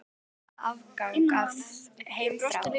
Hann kallaði þetta afgang af heimþrá.